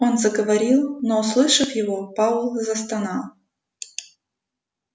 он заговорил но услышав его пауэлл застонал